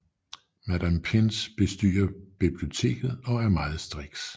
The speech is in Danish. Madam Pince bestyrer biblioteket og er meget striks